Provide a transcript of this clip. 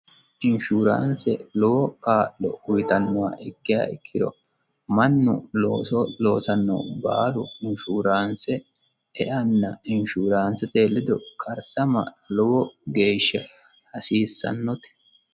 Insurance lowo kaa'lo uyittanoha ikkiha ikkiro mannu looso loossano baalu insurance eanna insurance ledo karisama lowo geeshsha hasiisanote .